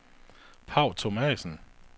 Paw Thomassen